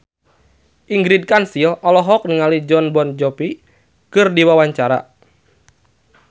Ingrid Kansil olohok ningali Jon Bon Jovi keur diwawancara